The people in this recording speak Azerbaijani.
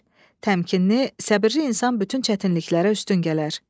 Təmkinli, səbirli insan bütün çətinliklərə üstün gələr.